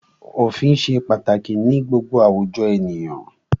Òfin ṣe pàtàkì ní gbogbo àwùjọ ènìyàn.